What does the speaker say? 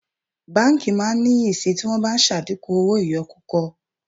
Báńkì máa níyì sì tí wọ́n bá ṣàdínkù owó ìyọkúkọ.